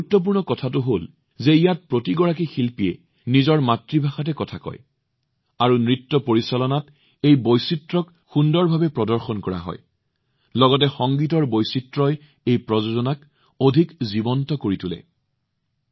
বিশেষ কথাটো হল যে ইয়াত প্ৰতিজন প্ৰদৰ্শকে নিজৰ মাতৃভাষাত কথা কয় আৰু নৃত্য পৰিচালনাই এই বৈচিত্ৰ্য সুন্দৰভাৱে প্ৰদৰ্শন কৰে আৰু সংগীতৰ বৈচিত্ৰ্যই এই প্ৰযোজনাক অধিক জীৱন্ত কৰি তোলে